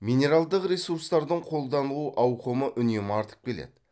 минералдық ресурстардың қолданылу ауқымы үнемі артып келеді